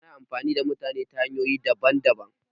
Ana amfani da mutane ta hanyoyi daban daban